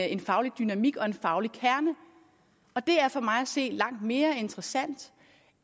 en faglig dynamik og en faglig kerne det er for mig at se langt mere interessant